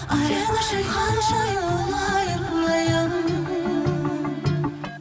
сен үшін ханшайым болайын айым